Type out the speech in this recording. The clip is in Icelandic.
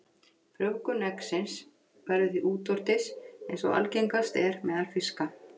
Frjóvgun eggsins verður því útvortis, eins og algengast er meðal fiska.